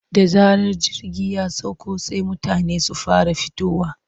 Da zarar jirgi ya sauka sai mutane su fara fitowa.